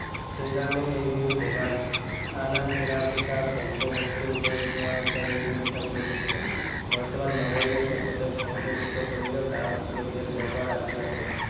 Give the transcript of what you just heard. সেইকাৰণে এই বিহু ভোগালী। আন আন চিৰা, পিঠা ভোগ্য বস্তুৰ উপৰি চুঙা পিঠা এই বিহুৰ এটা বৈশিষ্ট্য। বৰ্তমান নগৰীয়া সভ্যতাই সংকুচিত কৰিলেও গাঁও অঞ্চলত ইয়াৰ ব্যৱহাৰ আজিও আছে।